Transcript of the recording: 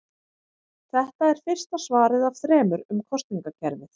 Þetta er fyrsta svarið af þremur um kosningakerfið.